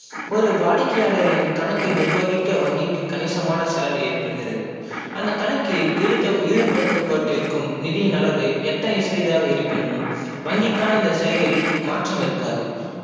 ஒரு வாடிக்கையாளரின் கணக்கை நிர்வகிக்க வங்கிக்கு கணிசமான செலவு ஏற்படிக்கிறது அந்த கனக்கில் ஈடுபடுத்தப்பட்டிருக்கும் நிதியின் அளவு எந்தனை சிறிதாக இருப்பினும் வங்கிக்கான அந்த செயலில் மாற்றம் இருக்காது